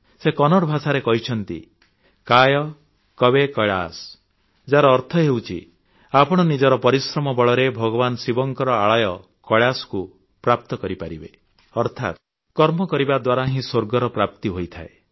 ସେ କନ୍ନଡ଼ ଭାଷାରେ କହିଛନ୍ତି କାୟ କବୈ କୈଳାସ ଯାହାର ଅର୍ଥ ହେଉଛି ଆପଣ ନିଜର ପରିଶ୍ରମ ବଳରେ ଭଗବାନ ଶିବଙ୍କର ଆଳୟ କୈଳାସକୁ ପ୍ରାପ୍ତ କରିପାରିବେ ଅର୍ଥାତ୍ କର୍ମ କରିବା ଦ୍ୱାରା ହିଁ ସ୍ୱର୍ଗର ପ୍ରାପ୍ତି ହୋଇଥାଏ